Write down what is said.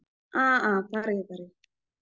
ആ ആ പറയു പറയു.